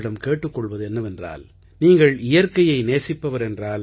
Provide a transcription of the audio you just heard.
கேட்டுக் கொள்வது என்னவென்றால் நீங்கள் இயற்கையை நேசிப்பவர் என்றால்